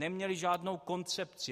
Neměli žádnou koncepci.